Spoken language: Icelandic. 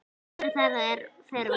Hvorugt þeirra fer út.